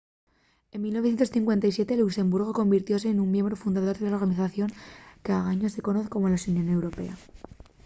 en 1957 luxemburgu convirtióse nun miembru fundador de la organización qu’anguaño se conoz como la xunión europea